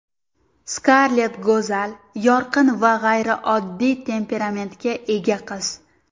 Skarlett go‘zal, yorqin va g‘ayrioddiy temperamentga ega qiz.